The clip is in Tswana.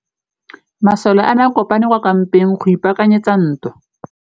Masole a ne a kopane kwa kampeng go ipaakanyetsa ntwa.